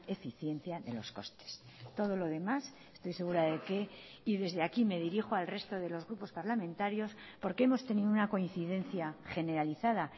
eficiencia de los costes todo lo demás estoy segura de que y desde aquí me dirijo al resto de los grupos parlamentarios porque hemos tenido una coincidencia generalizada